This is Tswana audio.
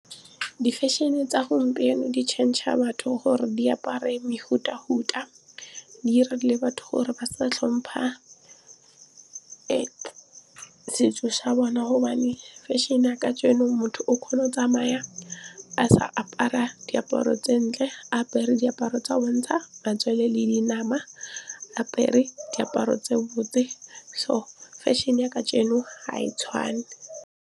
Di-fashion e tsa gompieno di change-a a batho gore di apare mefuta-futa. Di 'ira le batho gore ba sa tlhompha setso sa bona gobane fashion-e ya kajeno motho o kgona o tsamaya a sa apara diaparo tse ntle, a apere diaparo tsa go bontsha matswele le dinama, apere diaparo tse botse so fashion-e ya kajeno ga e tshwane.